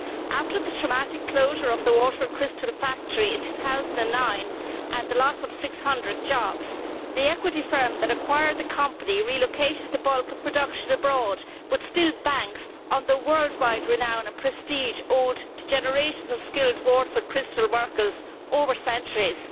After the traumatic closure of the Waterford Crystal factory in 2009 and the loss of 600 jobs, the equity firm that acquired the company relocated the bulk of production abroad, but still banks on the worldwide renown and prestige owed to generations of skilled Waterford Crystal workers over the centuries.